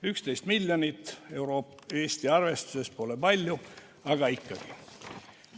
11 miljonit eurot Eesti arvestuses pole palju, aga ikkagi.